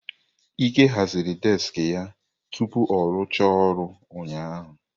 Ike haziri deski ya tupu ọ rụchaa ọrụ ụnyaahụ.